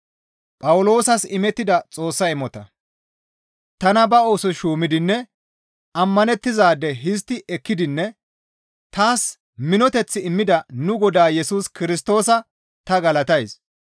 Tana ba oosos shuumidinne ammanettizaade histti ekkidinne taas minoteth immida nu Godaa Yesus Kirstoosa ta galatays.